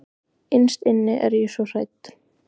Innst inni er ég svo hrædd.